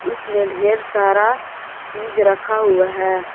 उसमें ढेर सारा चीज रखा हुआ है।